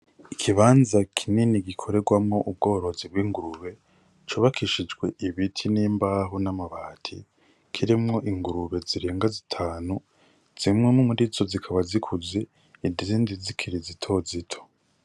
Ikibanza kinini gikorerwamwo ubworozi bw'ingurube cubakishijwe ibiti n'imbaho n'amabati kirimwo ingurube zirenga zitanu zimwe murizo zikaba zikuze izindi zikiri zito zito.